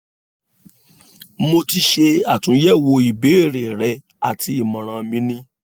mo ti ṣe atunyẹwo ìbéèrè rẹ ati imọran mi ni